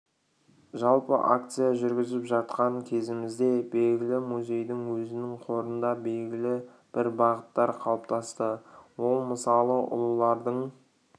жалпы акция жүргізіп жатқан кезімізде белгілі музейдің өзінің қорында белгілі бір бағыттар қалыптасты ол мысалы ұлылардың